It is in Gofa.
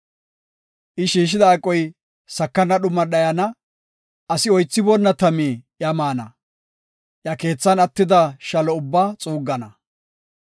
I shiishida aqoy sakana dhuman dhayana; asi oythiboonna tami iya maana; iya keethan attida shalo ubbaa xuuggana.